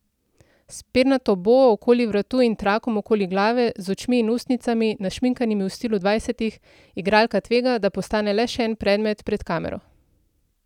S pernato boo okoli vratu in trakom okoli glave, z očmi in ustnicami, našminkanimi v stilu dvajsetih, igralka tvega, da postane le še en predmet pred kamero.